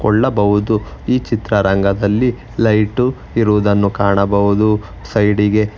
ಕೊಳ್ಳಬಹುದು ಈ ಚಿತ್ರರಂಗದಲ್ಲಿ ಲೈಟು ಇರುವುದನ್ನು ಕಾಣಬಹುದು ಸೈಡಿ ಗೆ.